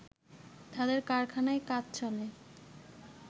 তাদের কারখানায় কাজ চলে